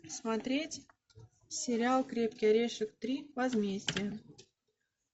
смотреть сериал крепкий орешек три возмездие